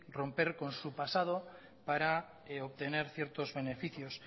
romper con su pasado para obtener ciertos beneficios